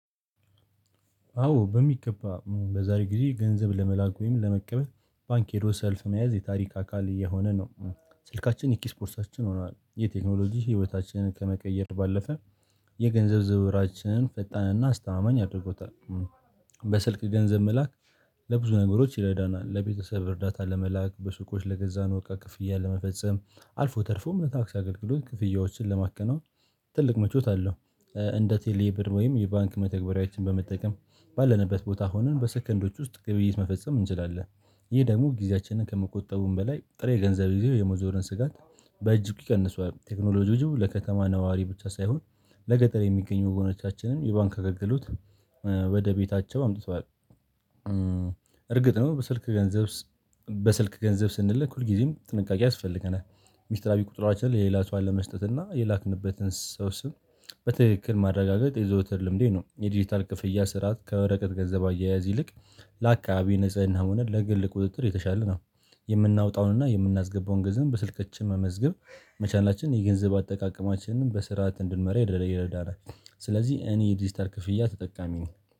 አዎ በሚገባ በዛሬ ጊዜ ገንዘብ ለመላክ ወይም ለመቀበል ባንክ ሄዶ ሰልፍ መያዝ የታሪክ አካል እየሆነ ነው። ስልካችን የኪስ ቦርሳችን ሆነዋል የቴክኖሎጂ ህይወታችንን ከመቀየር ባለፈ የገንዘብ ዝውውራችንን ፈጣንና አስተማማኝ አድርጎታል። በስልክ ገንዘብ መላክ። ለብዙ ነገሮች ይረዳናል ለቤተሰብ እርዳታ ለመላክ በሱቆች ለገዛነው እቃ ክፍያ ለመፈጸም አልፎ ተርፎ እምነት ታክሲ አገልግሎት ክፍያዎችን ለማከናወን። ትልቅ መቾት አለው። እንደ ቴሌብር ወይም የባንክ መተግበሪያዎችን በመጠቀም ባለንበት ቦታ ሆነን በሰከንዶች ውስጥ ግብይት መፈጸም እንችላለን። ይህ ደግሞ ጊዜያችንን ከመቆጠቡም በላይ ጥሬ ገንዘብ ጊዜ የመዞርን ስጋት በእጅጉ ይቀንሰዋል። ቴክኖሎጂው ለከተማ ነዋሪ ብቻ ሳይሆን ለገጠር የሚገኙ ወገኖቻችንን የባንክ አገግሎት ወደ ቤታቸው አምጥተዋል። እርግጥ ነው በስልክ ገንዘብ በስልክ ገንዘብ ስንልክ ሁልጊዜም ጥንቃቄ ያስፈልገናል። ሚስጥራዊ ቁጥራችንን ለሌላ ሰው አለመስጠት እና የላክንበትን ሰው ስም በትክክል ማረጋገጥ የዘወትር ልምዴ ነው። የዲጂታል ክፍያ ስርዓት ከወረቀት ገንዘብ አያያዝ ይልቅ። ለአካባቢ ንጽህና ሆነን ለግል ቁጥጥር የተሻለ ነው። የምናወጣውን እና የምናስገባውን ገንዘብ በስልካችን መመዝገብ መቻላችንን የገንዘብ አጠቃቀማችንን በስርዓት እንድንመራ ይደረዳራል። ስለዚህ እኔ የዲጂታል ክፍያ ተጠቃሚ ነው።